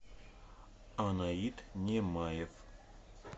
анаит немаев